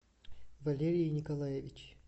валерий николаевич